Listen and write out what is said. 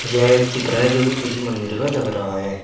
यह एक चित्र है जो कि किसी मंदिर का लग रहा है।